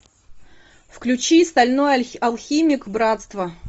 включи стальной алхимик братство